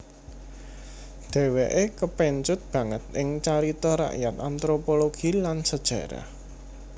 Dheweke kepencut banget ing carita rakyat anthropologi lan sejarah